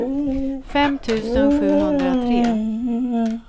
fem tusen sjuhundratre